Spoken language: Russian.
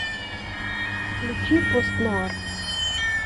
включи пост нуар